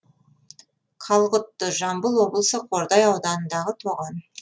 қалғұтты жамбыл облысы қордай ауданындағы тоған